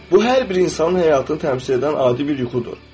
Bu hər bir insanın həyatını təmsil edən adi bir yuxudur.